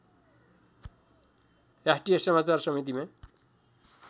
राष्ट्रिय समाचार समितिमा